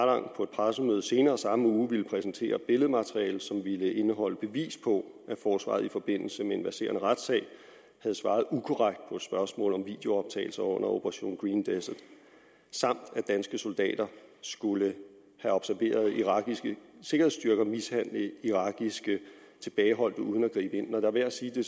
pressemøde senere samme uge ville præsentere billedmateriale som ville indeholde bevis på at forsvaret i forbindelse med en verserende retssag havde svaret ukorrekt på spørgsmål om videooptagelser under operation green desert samt at danske soldater skulle have observeret irakiske sikkerhedsstyrker mishandle irakiske tilbageholdte uden at gribe ind når det er værd at sige det